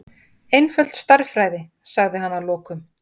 Einföld stærðfræði, sagði hann að lokum.